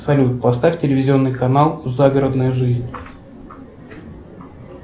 салют поставь телевизионный канал загородная жизнь